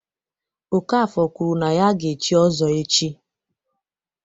Okafor kwuru na ya ga-echi Ozo echi.